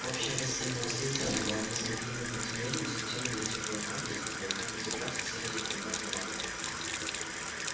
общая гостиная слизерина была низким длинным подземельем со стенами из дикого камня с потолка на цепях свисали зеленоватые лампы